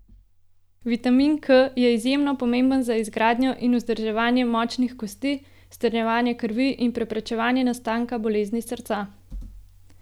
Vitamin K je izjemno pomemben za izgradnjo in vzdrževanje močnih kosti, strjevanje krvi in preprečevanje nastanka bolezni srca.